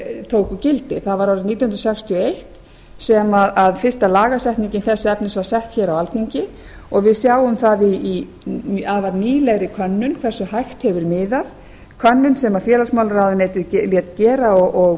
tóku gildi það var árið nítján hundruð sextíu og eitt sem fyrsta lagasetningin þess efnis var sett á alþingi og við sjáum það í afar nýlegri könnun hversu hægt hefur miðað könnun sem félagsmálaráðuneytið lét gera og